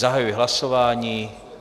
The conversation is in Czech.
Zahajuji hlasování.